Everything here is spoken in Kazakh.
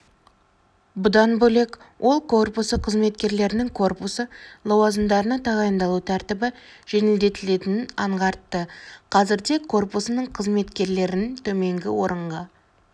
бұдан бөлек ол корпусы қызметкерлерінің корпусы лауазымдарына тағайындалу тәртібі жеңілдетілетінін аңғартты қазірде корпусының қызметкерлерін төменгі орынға